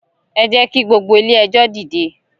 E jẹ kí gbogbo ilé ẹjọ dìde?